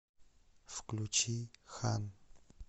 включи хан